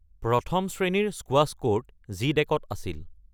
১ম শ্ৰেণীৰ squash court জি-ডেকত আছিল।